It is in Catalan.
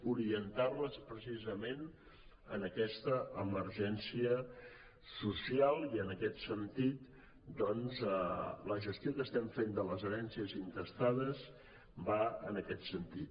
orientar les precisament en aquesta emergència social i la gestió que estem fent de les herències intestades va en aquest sentit